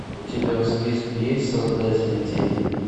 у тебя в списке есть создатели тени